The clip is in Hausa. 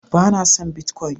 bana son "Bitcoin "